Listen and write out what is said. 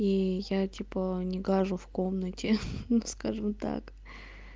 и я типа не гажу в комнате хе ну скажем так